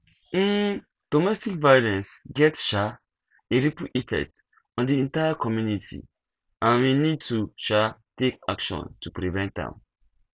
um domestic violence get um a ripple effect on di entire community and we need to um take action to prevent am